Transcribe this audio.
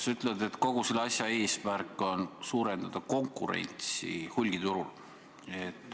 Sa ütled, et kogu selle ettevõtmise eesmärk on suurendada konkurentsi hulgiturul.